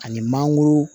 Ani mangoro